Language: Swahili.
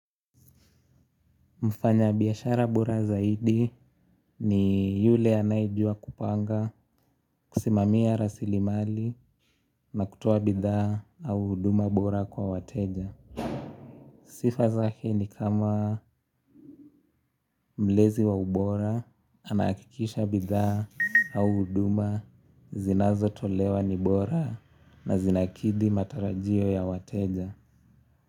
Mfanyabiashara bora zaidi ni yule anayejua kupanga kusimamia rasilimali na kutoa bidhaa au huduma bora kwa wateja. Sifa zake ni kama mlezi wa ubora anahakikisha bidhaa au huduma zinazotolewa ni bora na zinakidhi matarajio ya wateja.